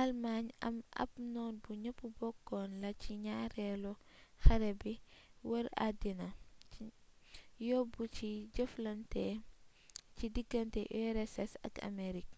alëmaañ ab noon bu ñepp bokkoon la ci ñaareelu xare b wër addiina yóbbu ci jëflante ci diggante ussr ak amerig